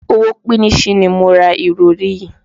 Owó píníṣín ni mo ra ìrọ̀rí yìí.